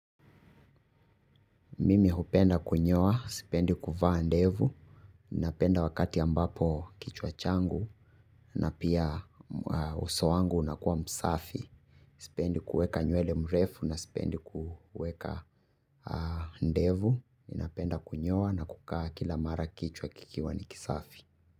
Mimi hupenda kunyoa, sipendi kufaa ndevu, ninapenda wakati ambapo kichwa changu na pia uso wangu unakua msafi. Sipendi kueka nyuele mrefu na sipendi kueka ndevu, ninapenda kunyoa na kukaa kila mara kichwa kikiwa ni kisafi.